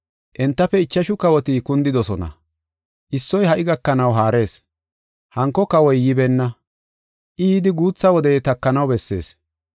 Entafe ichashu kawoti kundidosona. Issoy ha77i gakanaw haarees; hanko Kawoy yibeenna. I yidi guutha wode takanaw bessees.